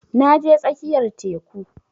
Na je tsakiyar teku